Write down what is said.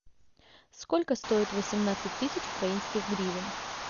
сколько стоит восемнадцать тысяч украинских гривен